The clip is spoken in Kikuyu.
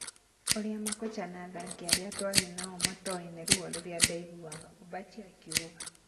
ũrĩa makocha na athaki arĩa twarĩ nao matooĩ nĩ ruo rũrĩa ndaiguaga, Ombachi akiuga.